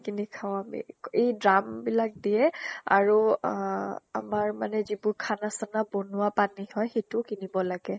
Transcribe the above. কিনি খাওঁ আমি। এই drum বিলাক দিয়ে আৰু আহ আমাৰ মানে যিবোৰ খানা চানা বনোৱা পানী হয়, সিটো কিনিব লাগে।